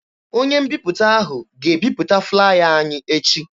Onye mbiputa ahụ ga-ebiputa flaya anyị echi.